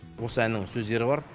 осы әннің сөздері бар